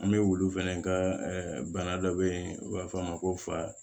An bɛ wulu fɛnɛ ka bana dɔ bɛ yen n'u b'a fɔ a ma ko fa